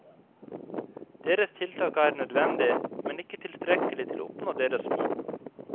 Deres tiltak er nødvendig, men ikke tilstrekkelig til å oppnå deres mål.